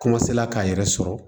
k'a yɛrɛ sɔrɔ